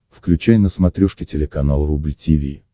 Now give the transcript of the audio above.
включай на смотрешке телеканал рубль ти ви